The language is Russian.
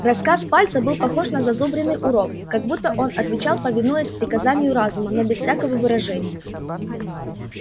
рассказ пальца был похож на зазубренный урок как будто он отвечал повинуясь приказанию разума но без всякого выражения